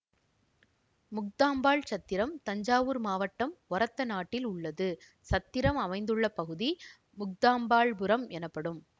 முக்தாம்பாள் சத்திரம் தஞ்சாவூர் மாவட்டம் ஒரத்தநாட்டில் உள்ளது சத்திரம் அமைந்துள்ள பகுதி முக்தாம்பாள்புரம் எனப்படும்